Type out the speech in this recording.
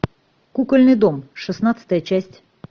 кукольный дом шестнадцатая часть